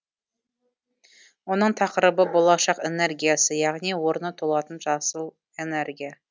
оның тақырыбы болашақ энергиясы яғни орны толатын жасыл энергия